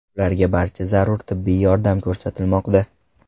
Ularga barcha zarur tibbiy yordam ko‘rsatilmoqda.